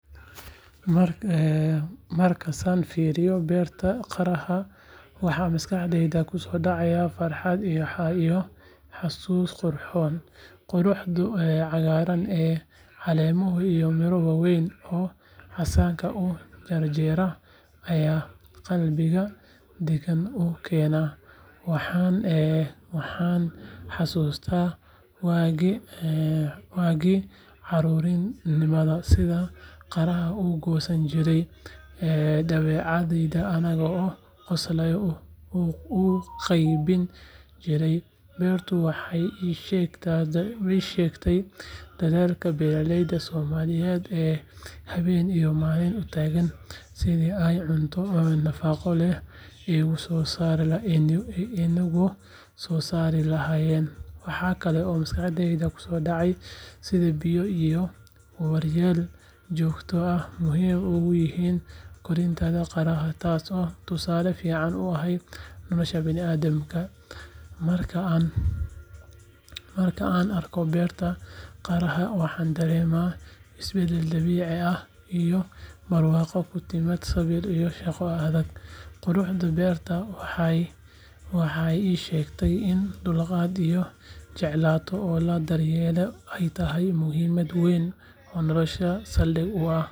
Markaasaan fiiriyay beerta qaraha, waxa maskaxdayda kusoo dhacay farxad iyo xasuus qurxoon. Quruxda cagaaran ee caleemaha, iyo miro waaweyn oo casaanka u janjeera ayaa qalbiga deganaan u keena. Waxaan xasuustaa waagii carruurnimada, sidaan qaraha u goosan jirnay, dabadeedna annagoo qoslayna u qaybin jirnay. Beertu waxay ii sheegtay dadaalka beeraleyda Soomaaliyeed ee habeen iyo maalin u taagan sidii ay cunto nafaqo leh inoogu soo saari lahaayeen. Waxa kale oo maskaxdayda kusoo dhacay sida biyo iyo daryeel joogto ah muhiim ugu yihiin koritaanka qaraha, taasoo tusaale fiican u ah nolosha bini’aadamka. Marka aan arko beerta qaraha, waxaan dareemaa isbeddel dabiici ah iyo barwaaqo ku timaada sabir iyo shaqo adag. Quruxda beertaasi waxay ii sheegtay in dhulkaaga la jeclaado oo la daryeelo ay tahay muhiimad weyn oo nolosha saldhig u ah.